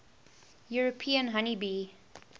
european honey bee